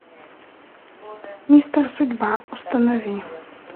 мистер судьба установи